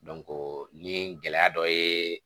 ni gɛlɛya dɔ ye